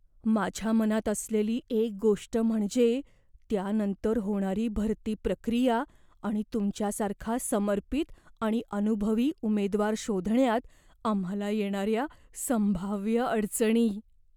माझ्या मनात असलेली एक गोष्ट म्हणजे त्यानंतर होणारी भरती प्रक्रिया आणि तुमच्यासारखा समर्पित आणि अनुभवी उमेदवार शोधण्यात आम्हाला येणाऱ्या संभाव्य अडचणी.